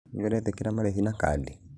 Nĩũretekera marĩhi na kadi?